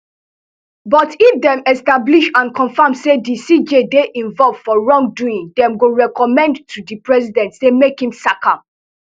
but if dem establish and confam say di cj dey involve for wrongdoing dem go recommend to di president say make im sack am